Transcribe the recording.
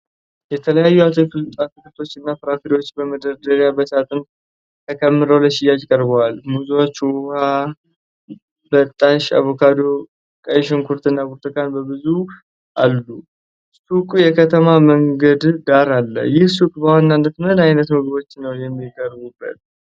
የተለያዩ አትክልቶችና ፍራፍሬዎች በመደርደሪያና በሳጥን ተከምረው ለሽያጭ ቀርበዋል። ሙዞች፣ ውሀ በጣሽ፣ አቮካዶ፣ ቀይ ሽንኩርት እና ብርቱካን በብዛት አሉ። ሱቁ የከተማ መንገድ ዳር አለ። ይህ ሱቅ በዋናነት ምን ዓይነት ምግቦችን ነው የሚያቀርበው?